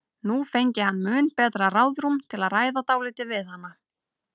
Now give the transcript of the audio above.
Nú fengi hann mun betra ráðrúm til að ræða dálítið við hana.